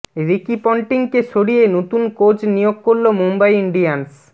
Ricky পন্টিংকে সরিয়ে নতুন কোচ নিয়োগ করল মুম্বই ইন্ডিয়ান্স